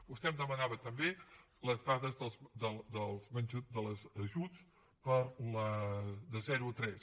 vostè em demanava també les dades dels ajuts de zero a tres